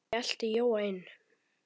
Lalli elti Jóa inn.